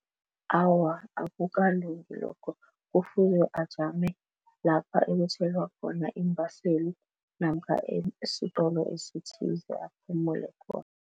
Awa, akukalungi lokho. Kufuze ajame lapha ekuthelwa khona iimbaseli namkha esitolo esithize aphumule khona.